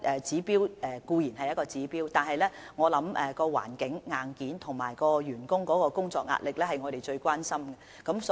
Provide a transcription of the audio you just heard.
這固然是一項指標，但工作環境等硬件，以及員工工作壓力會是我們最關心的事情。